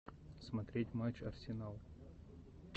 смотреть матч арсенал